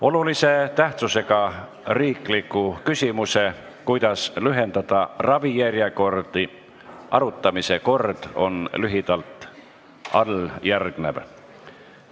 Olulise tähtsusega riikliku küsimuse "Kuidas lühendada ravijärjekordi" arutamise kord on lühidalt alljärgnev.